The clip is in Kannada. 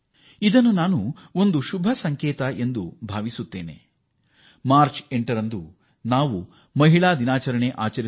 ನಾವು ಮಾರ್ಚ್ 8ರಂದು ಮಹಿಳಾ ದಿನವನ್ನು ಆಚರಿಸಲು ಸಿದ್ಧರಾಗುತ್ತಿರುವಾಗ ಇದೊಂದು ಆರೋಗ್ಯಕರ ಬೆಳವಣಿಗೆಯ ಸಂಕೇತವಾಗಿದೆ